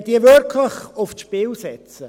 Wollen wir diese wirklich aufs Spiel setzen?